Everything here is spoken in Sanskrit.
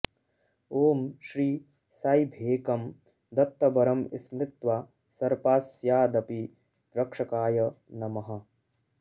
ॐ श्री साई भेकं दत्तवरं स्मृत्वा सर्पास्यादपि रक्षकाय नमः